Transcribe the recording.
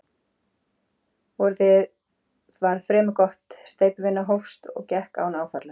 Vorið varð fremur gott, steypuvinnan hófst og gekk án áfalla.